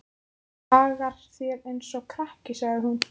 Hagar þér eins og krakki, sagði hún.